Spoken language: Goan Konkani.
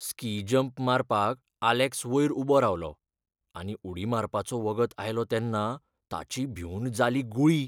स्की जम्प मारपाक आलेक्स वयर उबो रावलो, आनी उडी मारपाचो वगत आयलो तेन्ना ताची भिवन जाली गुळी.